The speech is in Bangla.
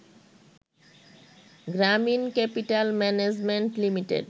Gramin capital management limited